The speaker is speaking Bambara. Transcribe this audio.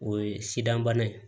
O ye sidan bana ye